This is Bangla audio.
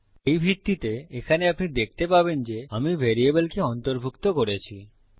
এই ভিত্তিতে এখানে আপনি দেখতে পাবেন যে আমি ভ্যারিয়েবলকে অন্তর্ভুক্ত করেছি